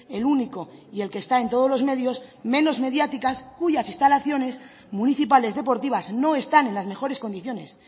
el único y el que está en todos los medios menos mediáticas cuyas instalaciones municipales deportivas no están en las mejores condiciones